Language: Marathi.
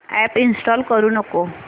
अॅप इंस्टॉल करू नको